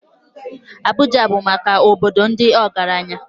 Abuja bụ obodo maka ndị ọgaranya